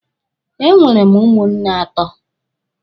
Enwere m ụmụnne atọ.